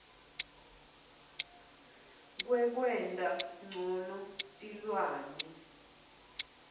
wekwenta ncono tilwane